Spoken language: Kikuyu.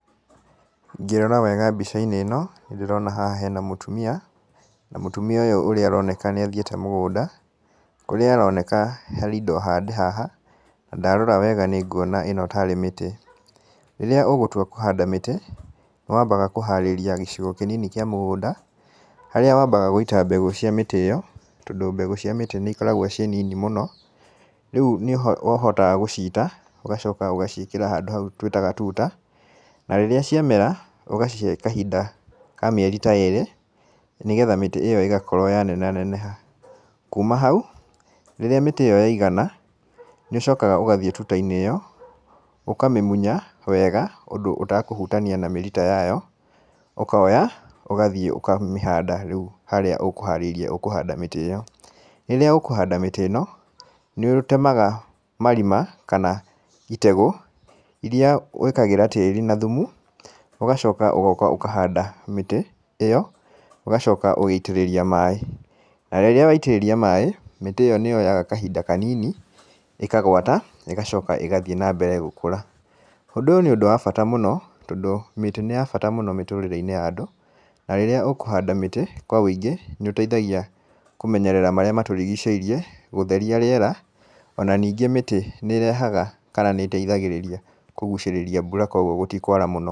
Ngĩrora wega mbica-inĩ ĩno, nĩ ndĩrona haha hena mũtumia, na mũtumia ũyũ ũrĩa aroneka nĩ athiĩte mũgũnda. Kũrĩa aroneka harĩ indo hande haha, na ndarora wega nĩ nguona ĩno tarĩ mĩtĩ. Rĩrĩa ũgũtua kũhanda mĩtĩ, nĩ wambaga kũharĩria gĩcigo kĩnini kĩa mũgũnda, harĩa wambaga gũita mbegũ cia mĩtĩ ĩyo, tondũ mbegũ cia mĩtĩ nĩ ikoragwo ciĩ nini mũno. Rĩu nĩho ũhotaga gũciita, ũgacoka ũgaciĩkĩra handũ hau tũĩtaga tuta. Na rĩrĩa ciamera, ũgacihe kahinda ka mĩeri ta ĩĩrĩ, nĩgetha mĩtĩ ĩyo ĩgakorwo yaneneha neneha. Kuuma hau, rĩrĩa mĩtĩ ĩyo yaigana, nĩ ũcokaga ũgathiĩ tuta-inĩ ĩyo, ũkamĩmunya wega, ũndũ ũtakũtania na mĩrita yayo. Ũkora, ũgathiĩ ũkamĩhanda rĩu harĩa ũkũharĩirie ũkũhanda mĩtĩ ĩyo. Rĩrĩa ũkũhanda mĩtĩ ĩno, nĩ ũtemaga marima, kana itegũ, irĩa wĩkagĩra tĩĩri na thumu, ũgacoka ũgoka ũkanda mĩtĩ ĩyo, ũgacoka ũgĩitĩrĩria maaĩ. Na rĩrĩa waitĩrĩria maaĩ, mĩtĩ ĩyo nĩ yoyaga kahinda kanini, ĩkagũata, na ĩgacoka ĩgathiĩ na mbere gũkũra. Ũndũ ũyũ nĩ ũndũ wa bata mũno, tondũ mĩtĩ nĩ ya bata mũno mĩtũrĩre-inĩ ya andũ, na rĩrĩa ũkũhanda mĩtĩ kwa wĩingĩ, nĩ ũteithagia kũmenyerera marĩa matũrigicĩirie, gũtheria rĩera, ona ningĩ mĩtĩ nĩ ĩrehaga kana nĩ ĩteithagĩrĩria kũgucĩrĩria koguo gũtikũara mũno.